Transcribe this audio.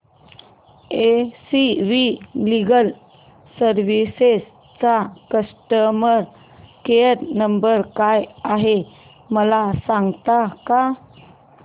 S V legal services चा customer care number काय आहे मला सांगता का